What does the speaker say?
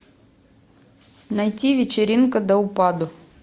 найти вечеринка до упаду